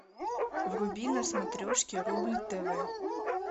вруби на смотрешке рубль тв